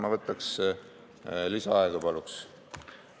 Ma võtaks lisaaega, paluks!